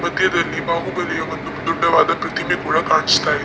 ಮಧ್ಯದಲ್ಲಿ ಬಾಹುಬಲಿಯ ಒಂದು ದೊಡ್ಡ ದಾದ ಒಂದು ಪ್ರತಿಮೆ ಕೂಡ ಕಾಣಿಸ್ತಾ ಇದೆ.